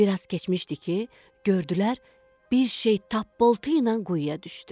Bir az keçməmişdi ki, gördülər bir şey tappultu ilə quyuya düşdü.